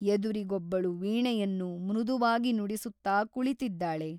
ಎದುರಿಗೊಬ್ಬಳು ವೀಣೆಯನ್ನು ಮೃದುವಾಗಿ ನುಡಿಸುತ್ತಾ ಕುಳಿತಿದ್ದಾಳೆ.